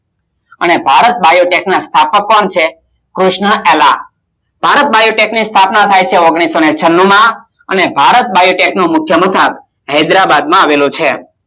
અને ભારત બાયોટેક ની સ્થાપના કોણ છે કૃષ્ણઅલ્લા, ભારત બાયોટેક ની સ્થાપના થાય છે ઓગણીસો છનું માં, ભારત બાયોટેક ની મુખીય મથક હૈદરાબાદમાં આવેલો છે